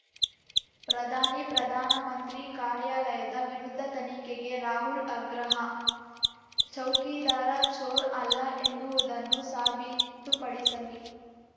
ಪ್ರಧಾನಿ ಪ್ರಧಾನ ಮಂತ್ರಿ ಕಾರ್ಯಾಲಯದ ವಿರುದ್ಧ ತನಿಖೆಗೆ ರಾಹುಲ್ ಆಗ್ರಹ ಚೌಕಿದಾರ ಚೋರ್ ಅಲ್ಲ ಎನ್ನುವುದನ್ನು ಸಾಬೀತುಪಡಿಸಲಿ